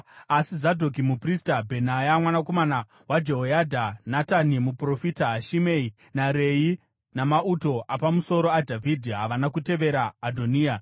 Asi Zadhoki muprista, Bhenaya mwanakomana waJehoyadha, Natani muprofita, Shimei, naRei, namauto apamusoro aDhavhidhi, havana kutevera Adhoniya.